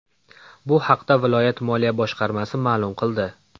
Bu haqda viloyat moliya boshqarmasi ma’lum qildi .